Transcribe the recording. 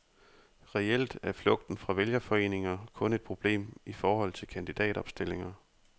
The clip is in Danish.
Reelt er flugten fra vælgerforeninger kun et problem i forhold til kandidatopstillinger.